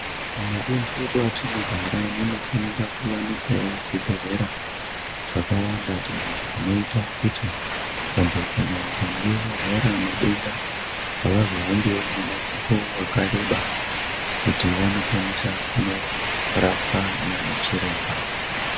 Mumadundu mwatinogara munofanira kuwanikwawo zvibhedhlera zvakawanda izvo zvinoita kuti vantu kana vakange varwara madenda avazohambiwo mumango wakareba kuti vandokwanosa kuno rapwa nana chiremba .